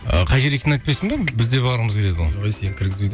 ы қай жер екенін айтпайсың ба бізде барғымыз келеді ғой ой сені кіргізбейді